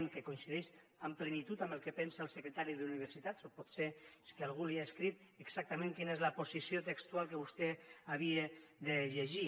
que coincideix amb plenitud amb el que pensa el secretari d’universitats o potser és que algú li ha escrit exactament quina és la posició textual que vostè havia de llegir